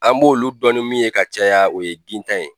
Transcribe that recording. An b'olu dɔn ni min ye ka caya o ye gintan ye,